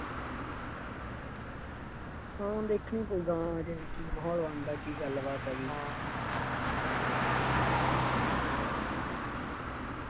ਹਾਂ ਹਾਂ ਦੇਖਣ ਹੀ ਪਊਗਾ ਹਜੇ ਵੀ ਕੀ ਮਾਹੌ਼ਲ ਬਣਦਾ, ਕੀ ਗੱਲਬਾਤ ਆ ਜੀ